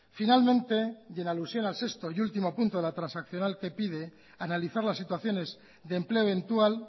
finalmente y en alusión al sexto y último punto de la transaccional que pide analizar las situaciones de empleo eventual